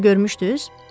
Siz onu görmüşdüz?